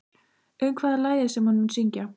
Um hvað er lagið sem hann mun syngja?